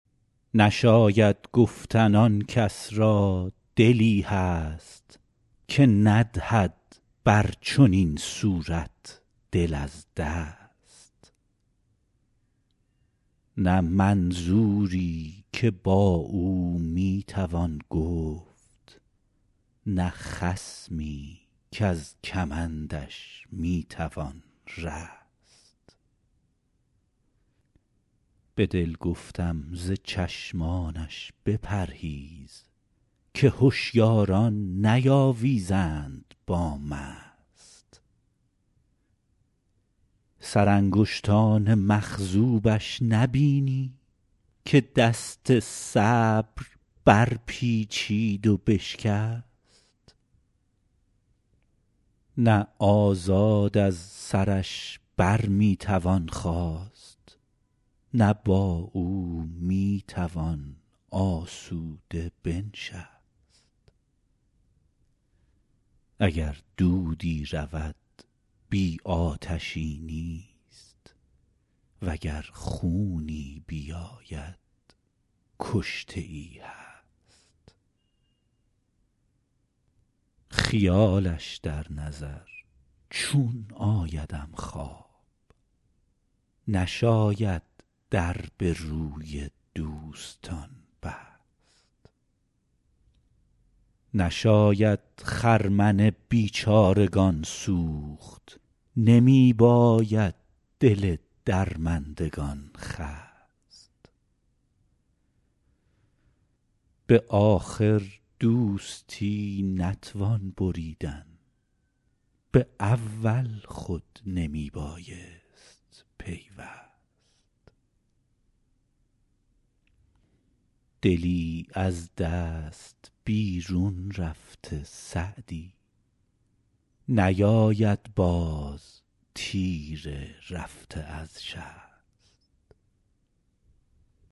نشاید گفتن آن کس را دلی هست که ندهد بر چنین صورت دل از دست نه منظوری که با او می توان گفت نه خصمی کز کمندش می توان رست به دل گفتم ز چشمانش بپرهیز که هشیاران نیاویزند با مست سرانگشتان مخضوبش نبینی که دست صبر برپیچید و بشکست نه آزاد از سرش بر می توان خاست نه با او می توان آسوده بنشست اگر دودی رود بی آتشی نیست و گر خونی بیاید کشته ای هست خیالش در نظر چون آیدم خواب نشاید در به روی دوستان بست نشاید خرمن بیچارگان سوخت نمی باید دل درماندگان خست به آخر دوستی نتوان بریدن به اول خود نمی بایست پیوست دلی از دست بیرون رفته سعدی نیاید باز تیر رفته از شست